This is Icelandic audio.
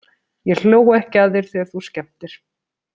Ég hló ekki að þér þegar þú skemmtir.